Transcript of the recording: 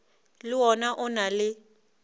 le wona o na le